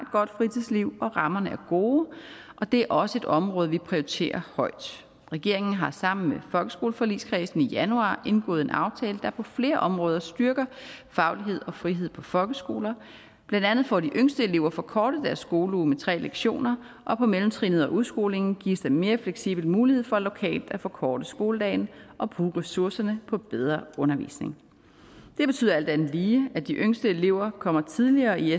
godt fritidsliv og rammerne er gode og det er også et område vi prioriterer højt regeringen har sammen med folkeskoleforligskredsen i januar indgået en aftale der på flere områder styrker faglighed og frihed på folkeskoler blandt andet får de yngste elever forkortet deres skoleuge med tre lektioner og på mellemtrinnet og udskolingen gives der mere fleksible muligheder for lokalt at forkorte skoledagen og bruge ressourcerne på bedre undervisning det betyder alt andet lige at de yngste elever kommer tidligere i